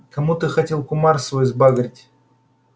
кому ты хотел кумар свой сбагрить